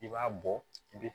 I b'a bɔ i bi